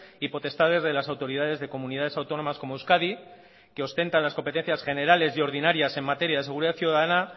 y potestades de las autoridades de comunidades autónomas como euskadi que ostentan las competencias generales y ordinarias en materia de seguridad ciudadana